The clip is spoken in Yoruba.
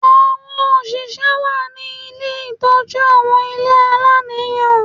Àwọn oṣìṣẹ́ wà ní ilé ìtọ́jú àwọn ilé aláìníìyá